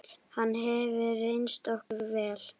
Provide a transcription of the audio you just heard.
Hann hefur reynst okkur vel.